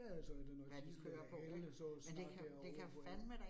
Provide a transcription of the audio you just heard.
Ja ja, så der noget diesel eller el eller sådan noget derovre ik